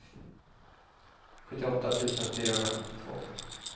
sjuttioåtta tusen fyrahundrasjuttiotvå